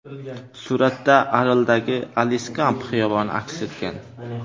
Suratda Arldagi Aliskamp xiyoboni aks etgan.